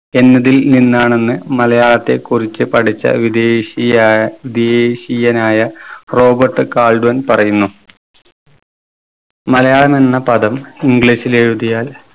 എന്നതിൽ നിന്നാണെന്ന് മലയാളത്തെ കുറിച്ച് പഠിച്ച വിദേശിയായ വിദേശിയനായ റോബർട്ട് കാൾഡ്വൻ പറയുന്നു. മലയാളം എന്ന പദം english ൽ എഴുതിയാൽ